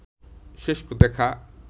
শেষ দেখা